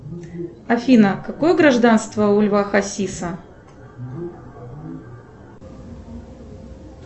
афина какое гражданство у льва хасиса